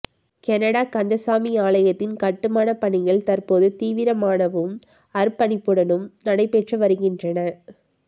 Canada Kandaswamy ஆலயத்தின் கட்டுமாணப் பணிகள் தற்போது தீவிரமானவும் அர்ப்பணிப்புடனும் நடைபெற்று வருகின்றன